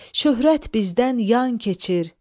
Şöhrət bizdən yan keçir.